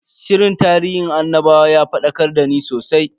Shirin tarihin annabawan ya fadakar dani sosai.